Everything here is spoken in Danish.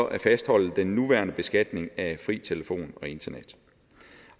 at fastholde den nuværende beskatning af fri telefon og internet